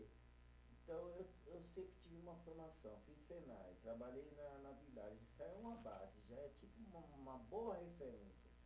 Então, eu eu sempre tive uma formação, fiz Senai, trabalhei na na Villares, isso é uma base, já é tipo um uma boa referência